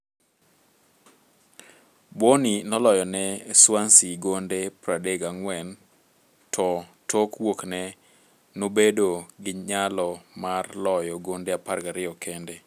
Bony noloyone Swansea gonde 34,to tok wuokne nobedo gi nyalo mar loyo gonde 12 kende.